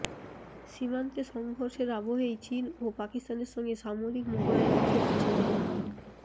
সীমান্তে সঙ্ঘর্ষের আবহেই চীন ও পাকিস্তানের সঙ্গে সামরিক মহড়ায় অংশ নিচ্ছে ভারত